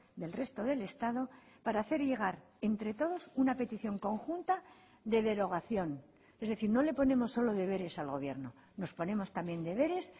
del resto del estado para hacer llegar entre todos una petición conjunta de derogación es decir no le ponemos solo deberes al gobierno nos ponemos también deberes